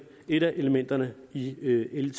et af elementerne i l